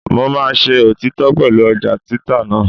Mo máa ṣe òtítọ́ pẹ̀lú ọjà títà náà.